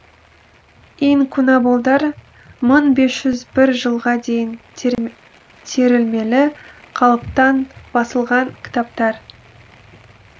инкунаболдар мың бес жүз бір жылға дейін терілмелі қалыптан басылған кітаптар